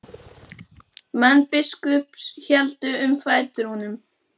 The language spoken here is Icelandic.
Menn biskups héldu um fætur honum.